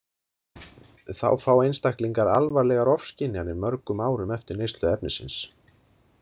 Þá fá einstaklingar alvarlegar ofskynjanir mörgum árum eftir neyslu efnisins.